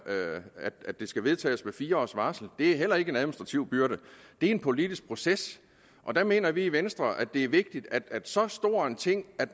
med at det skal vedtages med fire års varsel det er heller ikke en administrativ byrde det er en politisk proces der mener vi i venstre at det er vigtigt at så stor en ting